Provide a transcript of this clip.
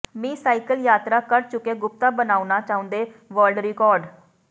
ਮੀ cycle ਯਾਤਰਾ ਕਰ ਚੁੱਕੇ ਗੁਪਤਾ ਬਣਾਉਣਾ ਚਾਹੁੰਦੈ ਵਰਲਡ ਰਿਕਾਰਡ